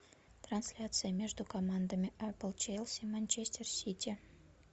трансляция между командами эпл челси манчестер сити